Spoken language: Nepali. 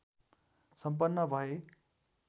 सम्पन्न भए